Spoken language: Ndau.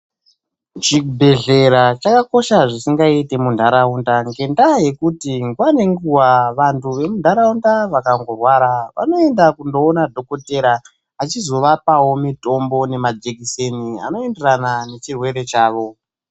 Chibhedhlera chakakosha zvisingaiti munharaunda, ngendaa yekuti nguwa ngenguwa vantu vemunharaunda vakangorwara ,vanoenda kundoona dhokodheya, achizovapawo mitombo nemajekiseni anoenderana nechirwere chavo.